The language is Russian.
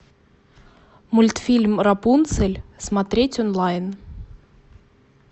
мультфильм рапунцель смотреть онлайн